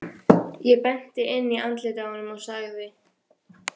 Ég benti inn í andlitið á honum og sagði